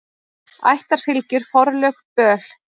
Ættarfylgjur, forlög, böl.